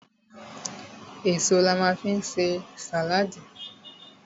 Èso la ma fi ń ṣe sàláàdì.